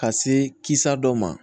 Ka se kisa dɔ ma